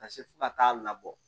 Ka se fo ka taa labɔ